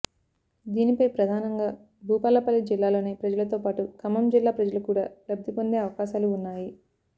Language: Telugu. దీనిపై ప్రధానంగా భూపాలపల్లి జిల్లాలోని ప్రజలతో పాటు ఖమ్మం జిల్లా ప్రజలు కూడా లబ్ధి పొందే అవకాశాలు ఉన్నాయి